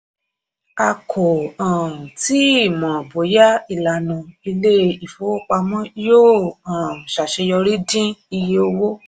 a kò um tíì mọ bóyá ìlànà ilé-ìfowópamọ́ yóò um ṣaṣeyọrí dín iye owó.